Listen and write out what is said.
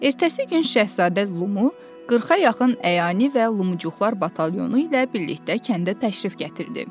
Ertəsi gün şahzadə Lumu 40-a yaxın əyani və Lumuçuqlar batalyonu ilə birlikdə kəndə təşrif gətirdi.